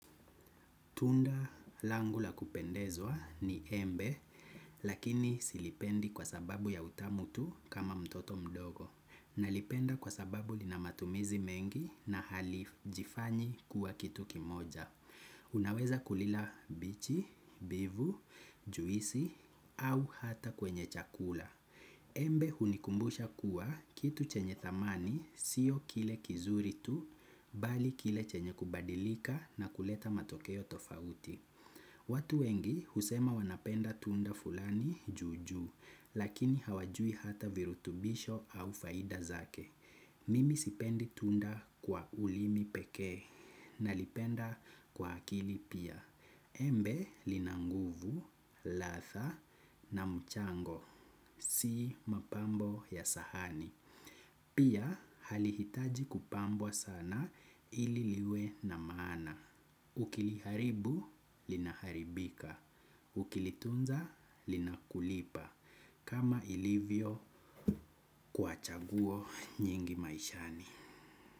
Tunda langu la kupendezwa ni embe, lakini silipendi kwa sababu ya utamu tu kama mtoto mdogo. Nalipenda kwa sababu lina matumizi mengi na halijifanyi kuwa kitu kimoja. Unaweza kulila bichi, bivu, juisi, au hata kwenye chakula. Embe hunikumbusha kuwa kitu chenye thamani, siyo kile kizuri tu, bali kile chenye kubadilika na kuleta matokeo tofauti. Watu wengi husema wanapenda tunda fulani juu juu, lakini hawajui hata virutubisho au faida zake. Mimi sipendi tunda kwa ulimi pekee, nalipenda kwa akili pia. Embe lina nguvu, ladha na mchango. Si mapambo ya sahani. Pia halihitaji kupambwa sana ili liwe na maana. Ukiliharibu, linaharibika. Ukilitunza, linakulipa. Kama ilivyo kwa chaguo nyingi maishani.